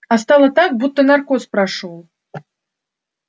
а стало так будто наркоз прошёл